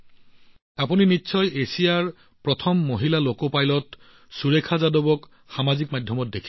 আপোনালোকে নিশ্চয় এছিয়াৰ প্ৰথম মহিলা লোকো পাইলট সুৰেখা যাদৱক সামাজিক মাধ্যমত দেখিছে